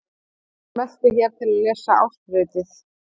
Smelltu hér til að lesa ársritið